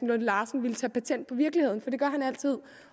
lunde larsen ville tage patent på virkeligheden for det gør han altid